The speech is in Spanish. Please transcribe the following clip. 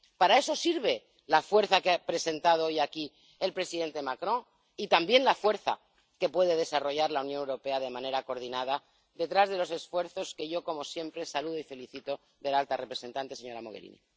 Para eso sirve la fuerza que ha presentado hoy aquí el presidente Macron y también la fuerza que puede desarrollar la Unión Europea de manera coordinada detrás de los esfuerzos que yo, como siempre, saludo y felicito de la alta representante, señora Mogherini.